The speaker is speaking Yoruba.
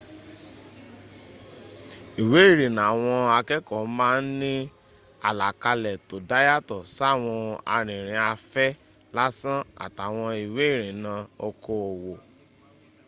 ìwé ìrìnnà àwọn akẹ́ẹ̀kọ́ má ń ní àlàkalẹ̀ tó dá yàtọ̀ sáwọn arìnrìn afẹ́ lásán àtàwọn ìwé ìrìnnà okoòwò